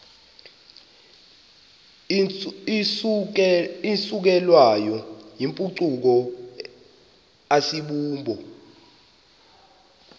isukelwayo yimpucuko asibubo